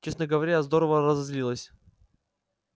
честно говоря я здорово разозлилась